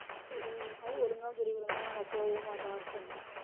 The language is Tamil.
உம் அதுவும் ஒழுங்கா சொல்லிக் கொடுக்க மாட்டாங்க நம்ம போகவும் மாட்டோம்